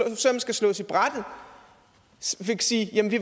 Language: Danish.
søm skal slås i brættet vil sige at vi